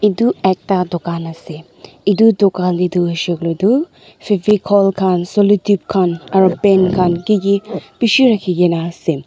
itu ekta dukan ase itu dukan huishey kuile tu fevocol khan salu tap pen khan kiki bishi rakhigena ase.